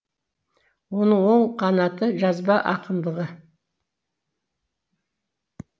оның оң қанаты жазба ақындығы